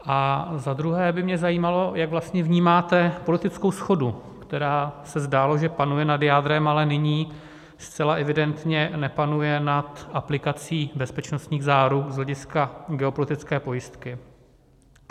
A za druhé by mě zajímalo, jak vlastně vnímáte politickou shodu, která, se zdálo, že panuje nad jádrem, ale nyní zcela evidentně nepanuje nad aplikací bezpečnostních záruk z hlediska geopolitické pojistky.